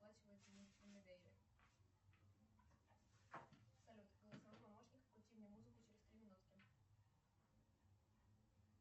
салют голосовой помощник включи мне музыку через три минутки